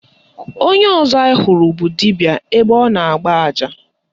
Onye ọzọ anyị hụrụ bụ dibịa ebe ọ na-agba aja.